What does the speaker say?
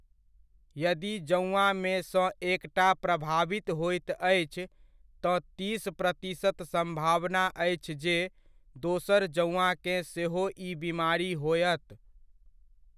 यदि जौआँमे सँ एकटा प्रभावित होइत अछि तँ तीस प्रतिशत सम्भावना अछि जे दोसर जौआँकेँ सेहो ई बीमारी होयत।